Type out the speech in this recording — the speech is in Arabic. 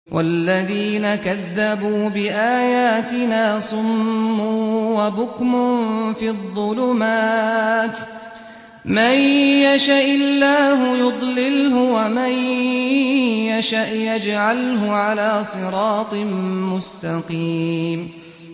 وَالَّذِينَ كَذَّبُوا بِآيَاتِنَا صُمٌّ وَبُكْمٌ فِي الظُّلُمَاتِ ۗ مَن يَشَإِ اللَّهُ يُضْلِلْهُ وَمَن يَشَأْ يَجْعَلْهُ عَلَىٰ صِرَاطٍ مُّسْتَقِيمٍ